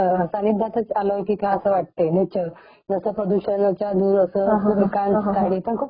restaurant खूप छान आहे तिथलं फूड टेस्ट केलं तर स्पायसी फूड असं खूप छान आहे अस टेस्टि स्पाइसी